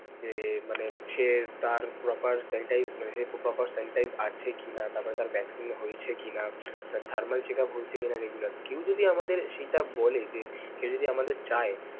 যে মানে সে তার proper sanitize মানে সে proper sanitize আছে কি না, তারপর তার vaccine হয়েছে কি না, thermal checkup হয়েছে কি না regular. কেউ যদি আমাদের সেটা বলে যে কেউ যদি আমাদের চায়.